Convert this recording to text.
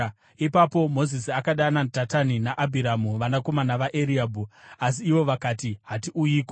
Ipapo Mozisi akadana Dhatani naAbhiramu, vanakomana vaEriabhi. Asi ivo vakati, “Hatiuyiko!